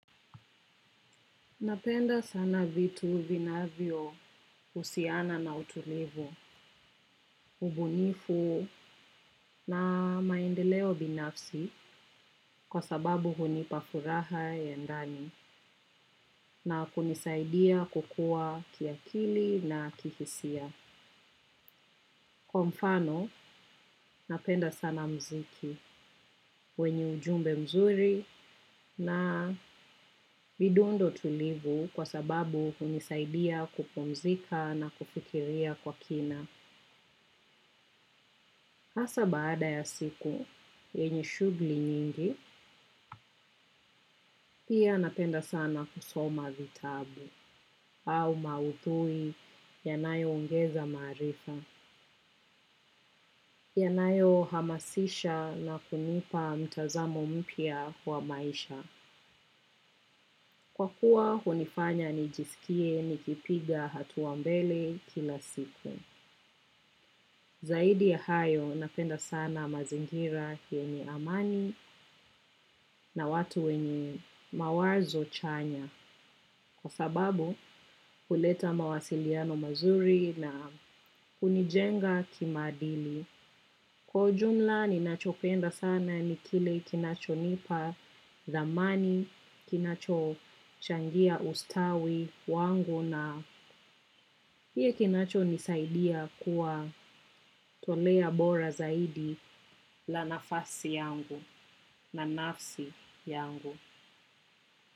Napenda sana vitu vinavyo usiana na utulivu, ubunifu na maendeleo binafsi kwa sababu hunipafuraha ya ndani na kunisaidia kukua kiakili na kihisia. Kwa mfano, napenda sana mziki wenye ujumbe mzuri na vidundo tulivu kwa sababu hunisaidia kupumzika na kufikiria kwa kina. Asa baada ya siku, yenye shugli nyingi, pia napenda sana kusoma vitabu au mauthui yanayo ongeza marifa. Yanayo hamasisha na kunipa mtazamo mpya kwa maisha. Kwa kuwa, hunifanya nijisikie nikipiga hatuambele kila siku. Zaidi ya hayo napenda sana mazingira yenye amani na watu wenye mawazo chanya. Kwa sababu huleta mawasiliano mazuri na hunijenga kimadili. Kwa ujumla ninachopenda sana nikile kinacho nipa thamani, kinacho changia ustawi wangu na pia kinacho nisaidia kuwa tolea bora zaidi la nafasi yangu na nafsi yangu.